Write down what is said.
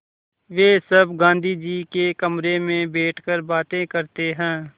वे सब गाँधी जी के कमरे में बैठकर बातें करते हैं